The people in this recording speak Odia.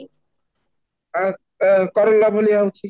ଆଃ ଆଃ କଲରା ଭଳିଆ ରହୁଛି